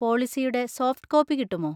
പോളിസിയുടെ soft copy കിട്ടുമോ?